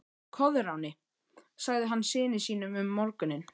Koðráni, sagði hann syni sínum um morguninn.